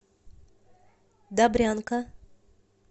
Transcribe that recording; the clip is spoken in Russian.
добрянка